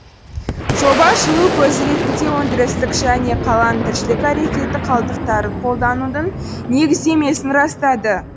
жоба жылу көзі ретінде өндірістік және қаланың тіршілік әрекеті қалдықтарын қолданудың негіздемесін растады